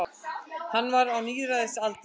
Hann var á níræðisaldri.